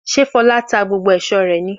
Fọlá tá gbogbo aṣọ ara rẹ̀?